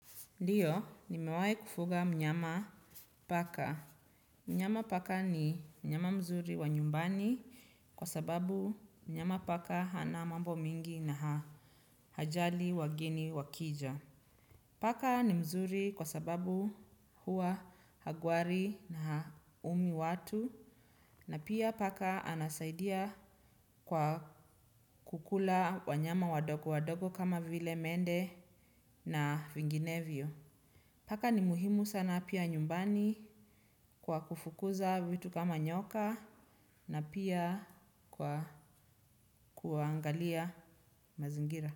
Ndio, nimewahi kufuga mnyama paka. Mnyama paka ni mnyama mzuri wa nyumbani kwa sababu mnyama paka hana mambo mingi na hajali wageni wakija. Paka ni mzuri kwa sababu huwa hagwari na haumi watu. Na pia paka anasaidia kwa kukula wanyama wadogo wadogo kama vile mende na vinginevyo. Paka ni muhimu sana pia nyumbani kwa kufukuza vitu kama nyoka na pia kwa kuangalia mazingira.